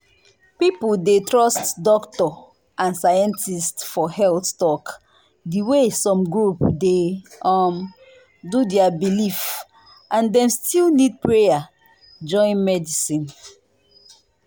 people dey trust doctor and scientist for health talk the way some group dey um do their belief and dem still need prayer join medicine.